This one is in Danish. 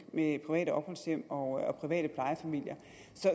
med private opholdshjem og private plejefamilier